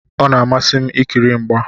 Ọ na-amasị m ikiri mgba.